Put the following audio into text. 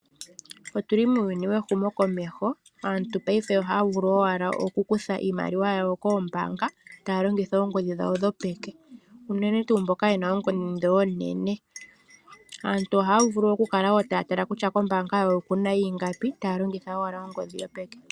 Otu li muuyuni wehumokomeho. Aantu paife ohaya vulu owala okukutha iimaliwa yawo koombaanga taya longitha oongodhi dhawo dhopeke, unene tuu mboka ye na oongodhi oonene. Aantu ohaya vulu okukala wo taya tala kutya koombaanga dhawo oku na ingapi, taya longitha owala ongodhi yopeke.